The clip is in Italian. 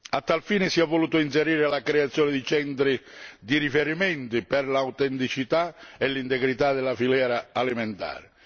A tal fine si è voluta inserire la creazione di centri di riferimento per l'autenticità e l'integrità della filiera alimentare.